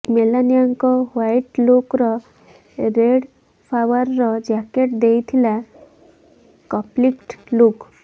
ମେଲାନିଆଙ୍କ white ଲୁକକୁ red ଫ୍ଲାୱାରର jacket ଦେଉଥିଲା କପ୍ଲିଂଟ୍ ଲୁକ୍